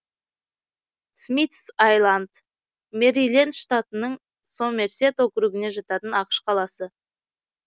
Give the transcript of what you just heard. смитс айланд мэриленд штатының сомерсет округіне жататын ақш қаласы